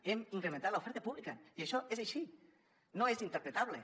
hem incrementat l’oferta pública i això és així no és interpretable